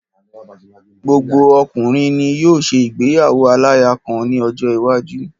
Gbogbo ọkùnrin ni yóò ṣe ìgbéyàwo aláya kan ní ọjọ́ iwájú.